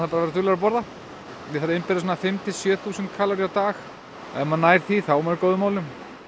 að vera duglegur að borða ég þarf að innbyrða fimm til sjö þúsund kaloríur á dag ef maður nær því þá er maður í góðum málum